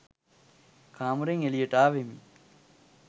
කාමරයෙන් එලියට ආවෙමි.